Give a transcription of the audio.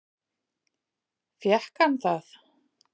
Fékk hann það?